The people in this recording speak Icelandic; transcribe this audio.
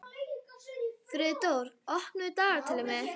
Friðdóra, opnaðu dagatalið mitt.